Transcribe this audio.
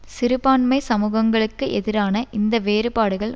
சிறுபான்மை சமூகங்களுக்கு எதிரான இந்த வேறுபாடுகள்